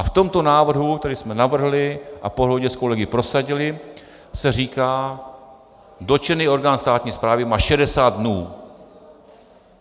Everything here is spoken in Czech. A v tomto návrhu, který jsme navrhli a po dohodě s kolegy prosadili, se říká: Dotčený orgán státní správy má 60 dnů.